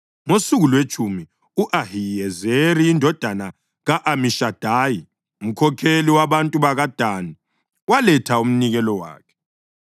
Ngosuku lwetshumi u-Ahiyezeri indodana ka-Amishadayi, umkhokheli wabantu bakaDani, waletha umnikelo wakhe.